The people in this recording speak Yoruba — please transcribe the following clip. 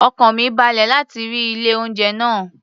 Ọkàn mi balẹ̀ láti rí ilé-oúnjẹ náà